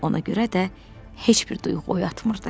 Ona görə də heç bir duyğu oyatmırdı.